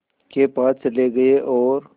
के पास चले गए और